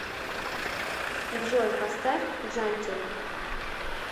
джой поставь джантин